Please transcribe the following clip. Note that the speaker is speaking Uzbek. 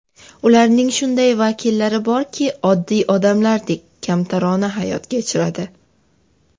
Ularning shunday vakillari borki, oddiy odamlardek, kamtarona hayot kechiradi.